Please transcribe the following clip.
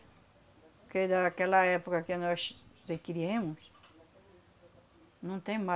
Porque daquela época que nós se criemos, não tem